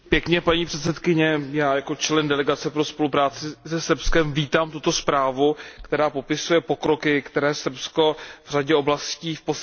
Já jako člen delegace pro spolupráci se Srbskem vítám tuto zprávu, která popisuje pokroky, které Srbsko v řadě oblastí v posledním roce dosáhlo.